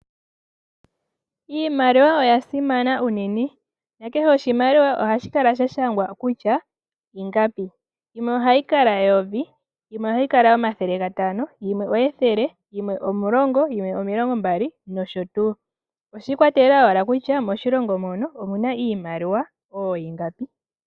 Iimaliwa oya simana unene nakehe oshimaliwa ohashi kala sha shangwa kutya ingapi, yimwe ohayi kala eyovi, yimwe omathele gatano, yimwe ethele, yimwe omilongo mbali noshotuu. Oshi ikwatelela ashike kutya moshilongo mono omu na iimaliwa oohingapi.